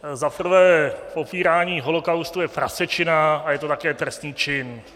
Za prvé, popírání holocaustu je prasečina a je to také trestný čin.